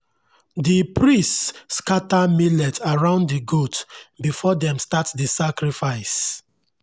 the priests scatter millet around the goat before dem start the sacrifice.